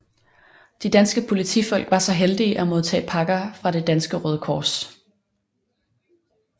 De danske politifolk var så heldige at modtage pakker fra det danske Røde Kors